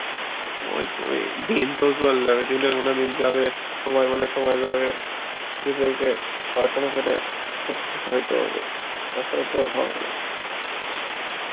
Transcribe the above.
ওই তো এই দিন তো চলে যাবে, দিনে গুনে দিন যাবে, সই বলে সময় যাবে সে জেইগায় পড়াশুনা করে প্রতিষ্ঠিত হইতে হবে টা ছাড়া তো হবে না